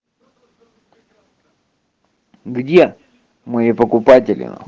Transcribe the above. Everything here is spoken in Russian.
где мои покупатели на хуй